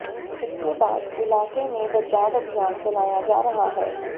इसके बाद इलाके में बचाव अभियान चलाया जा रहा है